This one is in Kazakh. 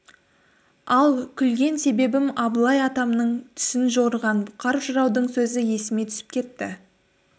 ал күлген себебім абылай атамның түсін жорыған бұқар жыраудың сөзі есіме түсіп кетті